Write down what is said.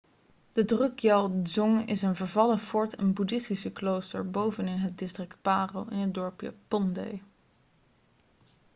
de drukgyal dzong is een vervallen fort en boeddhistisch klooster bovenin het district paro in het dorpje phondey